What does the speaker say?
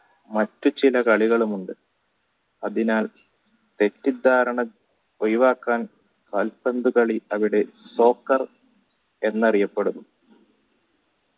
മറ്റു ചില കളികളുമുണ്ടു അതിനാൽ തെറ്റിദ്ധാരണ ഒഴിവാക്കാൻ കാൽപന്തു കളി അവിടെ soccer എന്നറിയപ്പെടുന്നു